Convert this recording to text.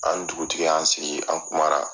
An ni dugutigi y' an sigi an kumara